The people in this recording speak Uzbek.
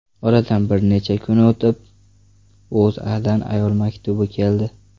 Oradan bir necha kun o‘tib, O‘zAdan ayol maktubi keldi.